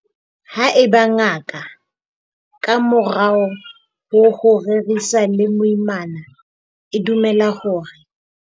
haeba ngaka, ka morao ho ho rerisana le moimana, e dumela hore.